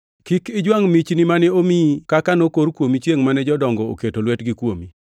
Kik ijwangʼ michni mane omiyi kaka nokor kuomi chiengʼ mane jodongo oketo lwetgi kuomi.